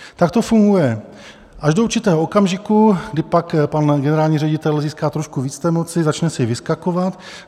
Tak to funguje až do určitého okamžiku, kdy pak pan generální ředitel získá trošku víc té moci, začne si vyskakovat.